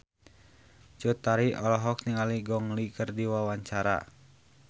Cut Tari olohok ningali Gong Li keur diwawancara